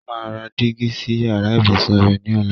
Ó máa ra dígí sí yàrá ìbùsùn rẹ ní ọ̀la.